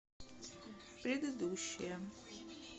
предыдущая